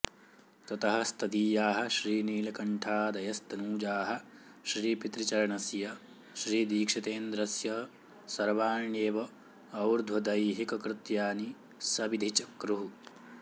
ततः स्तदीयाः श्रीनीलकण्ठादयस्तनूजाः श्रीपितृचरणस्य श्रीदीक्षितेन्द्रस्य सर्वाण्येव और्ध्वदैहिककृत्यानि सविधि चक्रुः